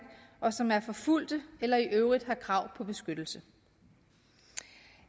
og som er forfulgte eller i øvrigt har krav på beskyttelse